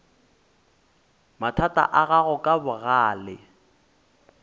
mathata a gago ka bogale